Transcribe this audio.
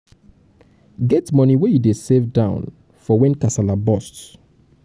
get money wey you dey save down for when kasala burst